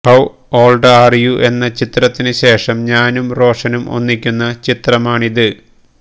how old are you എന്ന ചിത്രത്തിനു ശേഷം ഞാനും റോഷനും ഒന്നിക്കുന്ന ചിത്രമാണ് ഇത്